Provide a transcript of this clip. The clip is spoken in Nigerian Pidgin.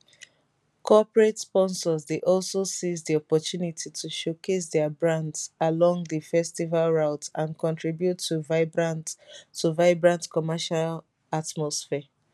corporate sponsors dey also seize di opportunity to showcase dia brands along di festival routes and contribute to vibrant to vibrant commercial atmosphere